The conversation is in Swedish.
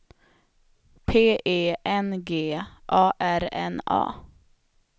P E N G A R N A